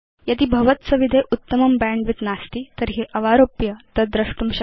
यदि भवत्सविधे उत्तमं बैण्डविड्थ नास्ति तर्हि अवारोप्य तद् द्रष्टुं शक्यम्